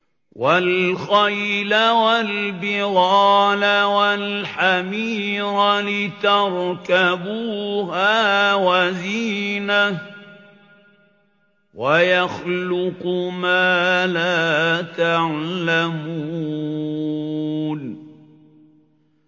وَالْخَيْلَ وَالْبِغَالَ وَالْحَمِيرَ لِتَرْكَبُوهَا وَزِينَةً ۚ وَيَخْلُقُ مَا لَا تَعْلَمُونَ